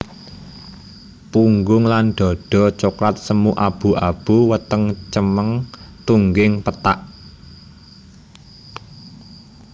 Punggung lan dhadha coklat semu abu abu weteng cemeng tungging pethak